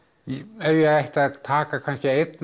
ef ég ætti að taka kannski einn